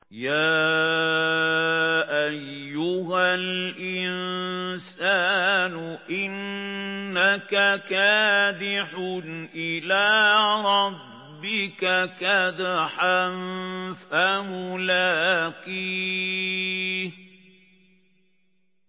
يَا أَيُّهَا الْإِنسَانُ إِنَّكَ كَادِحٌ إِلَىٰ رَبِّكَ كَدْحًا فَمُلَاقِيهِ